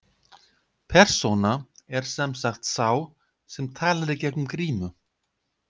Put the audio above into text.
Persóna er sem sagt sá sem talar í gegnum grímu.